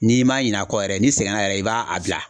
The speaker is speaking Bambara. N'i m'a ɲin'a kɔ yɛrɛ ni sɛgɛn na yɛrɛ i b'a a bila